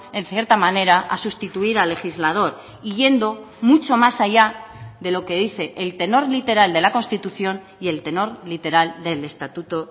en cierta manera a sustituir al legislador y yendo mucho más allá de lo que dice el tenor literal de la constitución y el tenor literal del estatuto